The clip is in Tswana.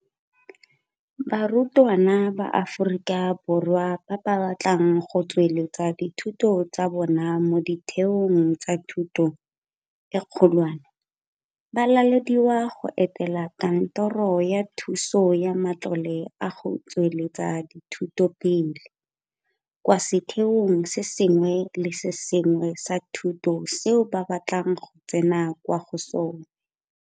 Barutwana ba Aforika Borwa ba ba batlang go tsweletsa dithuto tsa bona mo ditheong tsa thuto e kgolwane ba lalediwa go etela Kantoro ya Thuso ka Matlole a go Tsweletsa Dithuto Pele kwa setheong se sengwe le se sengwe sa thuto seo ba batlang go tsena kwa go sona.